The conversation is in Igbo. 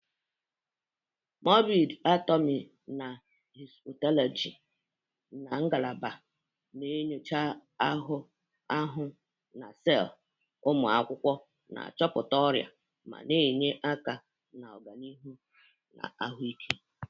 Morbidi anatomi na Histopatologi ngalaba na-enyocha anụ ahụ na sel, ụmụ akwụkwọ na-achọpụta ọrịa ma na-enye aka na ọganihu ahụike.